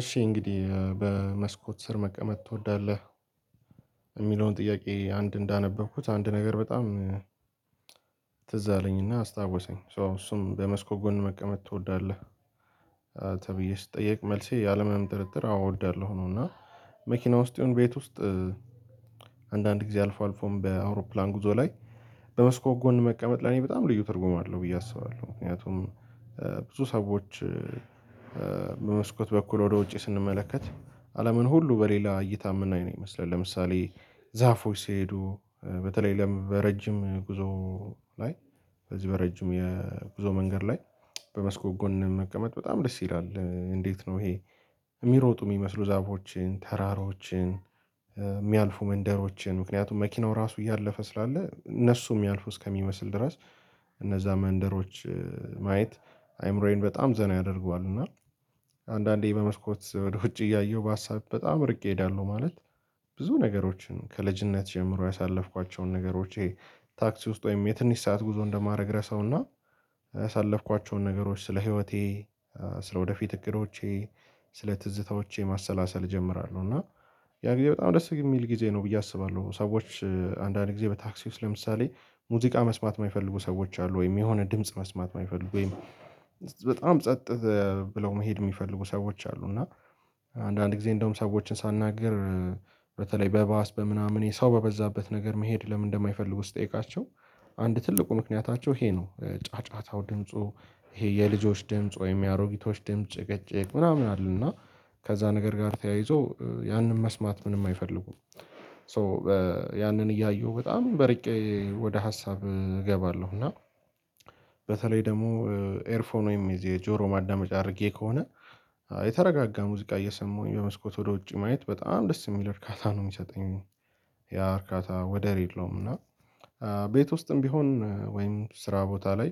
እሺ እንግዲህ በመስኮት ስር መቀመጥ ትወዳለህ እሚለውን ጥያቄ አንድ እንዳነበብኩት አንድ ነገር በጣም ትዝ አለኝና አስታወሰኝ ሶ እሱም በመስኮ ጎን መቀመጥ ትወዳለህ? ተብዬ ስትጠየቅ መልሴ ያለምንም ጥርጥር አወ እወዳለሁ ነው። እና መኪና ውስጥ ይሁን ቤት ውስጥ አንዳንድ ጊዜ አልፎ አልፎም በአውሮፕላን ጉዞ ላይ። በመስኮት ጎን መቀመጥ ለኔ በጣም ልዩ ተርጉም አለው ብዬ አስባለሁ ምክንያቱም። ብዙ ሰዎች በመስኮት በኩል ወደ ውጪ ስንመለከት አለምን ሁሉ በሌላ እይታ የምናይ ነው የሚመስለን። ለምሳሌ ዛፎች ሲሄዱ በተለይ በረጅም ጉዞ ላይ በዚህ በረጅም የጉዞ መንገድ ላይ በመስኮት ጎን መቀመጥ በጣም ደስ ይላል። እንዴት ነው? ይሄ የሚሮጡ የሚመስሉ ዛፎችን ተራራዎችን እሚያልፉ መንደሮችን ምክንያቱም መኪናው ራሱ እያለፈ ስላለ እነሱ የሚያልፉ እስከሚመስል ድረስ እነዛ መንደሮች ማየት አይምሮዬን በጣም ዘና ያደርገዋል። እና አንዳንዴ በመስኮት ወደ ውጪ እያየሁ በሀሳብ በጣም ርቄ እሄዳለሁ። ማለት ብዙ ነገሮችን ከልጅነት ጀምሮ ያሳለፍኳቸውን ነገሮች ይሄ ታክሲ ውስጥ ወይም የትንሽ ሰዓት ጉዞ እንደማድረግ ረሳውና ያሳለፍኳቸውን ነገሮች ስለ ህይወቴ ስለ ወደፊት እቅዶቼ ስለ ትዝታዎቼ ማሰላሰል እጀምራለሁ። እና ያ ጊዜ በጣም ደስ የሚል ጊዜ ነው ብዬ አስባለሁ። ሰዎች አንዳንድ ጊዜ በታክሲ ውስጥ ለምሳሌ ሙዚቃ መስማት የማይፈልጉ ሰዎች አሉ። ወይም የሆነ ድምጽ መስማት እማይፈልጉ ወይም በጣም ጸጥ ብለው መሄድ የሚፈልጉ ሰዎች አሉ። እና አንዳንድ ጊዜ እንደውም ሰዎችን ሳናገር። በተለይ በባስ በምናምን የሰው በበዛበት ነገር መሄድ ለምን እንደማይፈልጉ ስጠይቃቸው። አንድ ትልቁ ምክንያታቸው ይሄ ነው ጫጫታው ድምፁ ይሄ የልጆች ድምጽ ወይም የአሮጊቶች ድምጽ ጭቅጭቅ ምናምን አለ። እና ከዛ ነገር ጋር ተያይዞ ያንን መስማት ምንም አይፈልጉም። ሶ ያንን እያየሁ በጣም እርቄ ወደ ሀሳብ እገባለሁ። እና በተለይ ደግሞ ኤርፎን ወይም የጆሮ ማዳመጫ አድርጌ ከሆነ የተረጋጋ ሙዚቃ እየሰማሁኝ በመስኮት ወደ ውጪ ማየት በጣም ደስ የሚል እርካታ ነው የሚሰጠኝ። ያ እርካታ ወደር የለውም። እና ቤት ውስጥም ቢሆን ወይም ስራ ቦታ ላይ